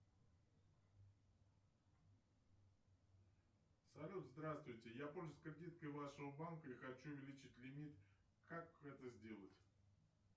салют здравствуйте я пользуюсь кредиткой вашего банка и хочу увеличить лимит как это сделать